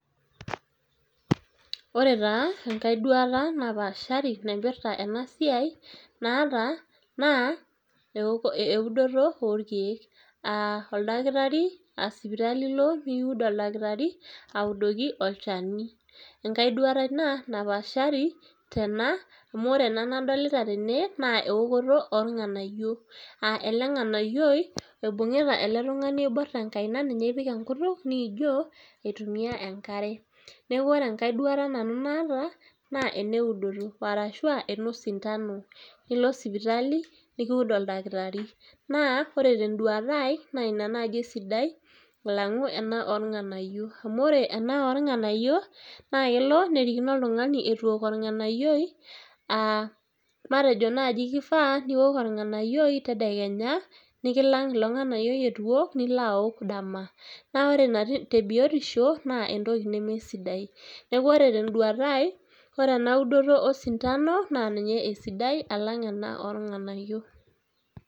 ore taa enkae duata napaashari naipirta ena siai, naa eudoto oo irkeek. aa oldakitari aa sipitali ilo pee kiud oldakitari audoki olchani. enkae duata ena napaashari tena amu ore ena nadolita tene naa eokoto oo irng'anayio. aa ele ng'anayioi eibung'ita ele tung'ani oibor tenkaina ninye ipiki enkutuk niijoo aitumia enkare neaku ore enkae duata nanu naata naa eneudoto arashu aa enosondano nilo sipitali nikiud oldakitari. naa ore tenduata ai naa ina naaji esidai alang'u ena oo irng'anayio. amu ore ene oo irng'anayio naa kerikino oltung'ani itu eok orng'ananyioi aa matejo naji keifaa niok orng'anayioi tedekenya nikilang ilo ng'anayioi eitu iok nilo aok dama naa ore ina te biotisho naa entoki neme sidai neaku ore te nduata ai ore enaudoto osindano naa ninye esidai alang' eokoto oo irng'anayio